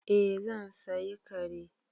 Eh zan sayi kare.